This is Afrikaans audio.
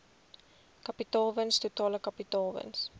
kapitaalwins totale kapitaalwins